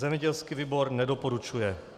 Zemědělský výbor nedoporučuje.